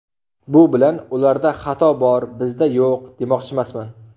Bu bilan ‘ularda xato bor, bizda yo‘q’, demoqchimasman.